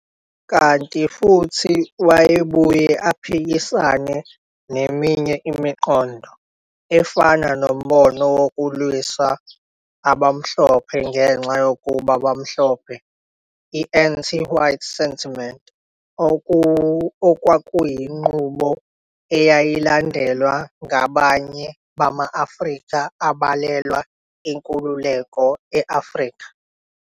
Kanti futhi wayebuye aphikisane neminye imiqondo, efana nombono wokulwisa abamhlophe ngenxa yokuba bemhlophe, i-anti-white sentiment, okwakuyinqubo eyayilandelwa ngabanye bama-Afrika ababelwela inkululeko e-Afrika.